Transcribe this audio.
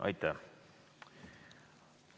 Aitäh!